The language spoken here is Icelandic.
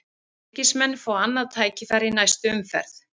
Fylkismenn fá annað tækifæri í næstu umferð